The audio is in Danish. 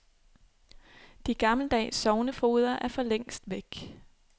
De gammeldags sognefogeder er for længst væk.